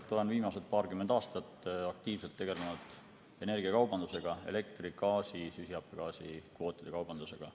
Olen viimased paarkümmend aastat aktiivselt tegelenud energiakaubandusega, elektri ja gaasi süsihappegaasikvootide kaubandusega.